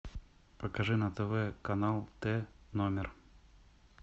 покажи на тв канал т номер